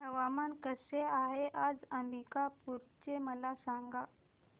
हवामान कसे आहे आज अंबिकापूर चे मला सांगा